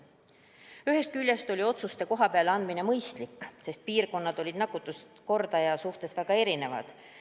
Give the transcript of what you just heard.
Ühest küljest oli otsuste kohapeal tegemine mõistlik, sest piirkondade nakkuskordajad olid väga erinevad.